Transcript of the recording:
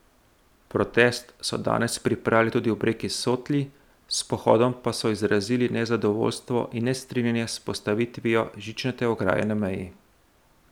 Protest so danes pripravili tudi ob reki Sotli, s pohodom pa so izrazili nezadovoljstvo in nestrinjanje s postavitvijo žičnate ograje na meji.